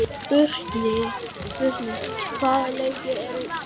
Burkney, hvaða leikir eru í kvöld?